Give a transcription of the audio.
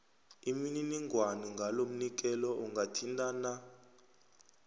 imininingwana ngalomnikelo ungathintana